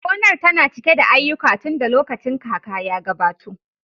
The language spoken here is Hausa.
Gonar tana cike da aiyuka tunda lokacin kaka ya gabato